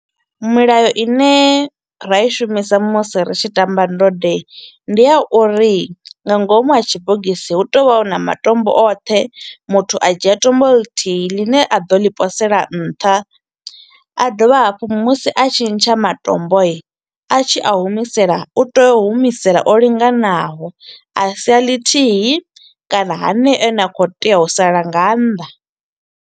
Milayo i ne ra i shumisa musi ri tshi tamba ndode ndi ya uri nga ngomu ha tshibogisi hu tea u vha hu na matombo oṱhe, muthu a dzhia tombo ḽithihi ḽi ne a ḓo ḽi posela nṱha, a dovha hafhu musi a tshi ntsha matomboi, a tshi a humisela u tea u humisela o linganaho, a sia ḽithihi kana haneyo a ne a kho u tea u sala nga nnḓa.